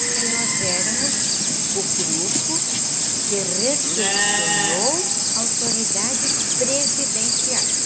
Porque nós éramos o grupo que recepcionou autoridades presidenciais.